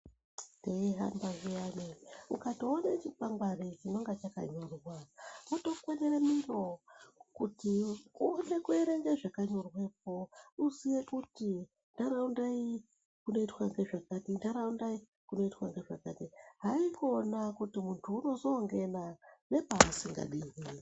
Teihamba zviyani, ukatoone chikwangwari chinonga chakanyorwa wotokwenere miro kuti uone uerenge zvakanyorwepo, kuti uziye kuti ntaraunda iyi kunoitwa ngezvakati, ntaraunda iyi kunoitwa ngezvakati. Haikona kuti muntu unozoongena nepaasingadiwi.